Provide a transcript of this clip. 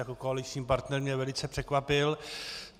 Jako koaliční partner mě velice překvapil.